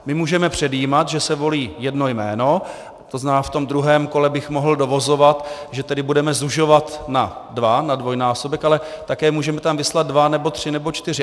My můžeme předjímat, že se volí jedno jméno, to znamená, v tom druhém kole bych mohl dovozovat, že tedy budeme zužovat na dva, na dvojnásobek, ale také můžeme tam vyslat dva nebo tři nebo čtyři.